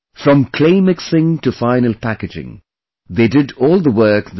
From Clay Mixing to Final Packaging, they did all the work themselves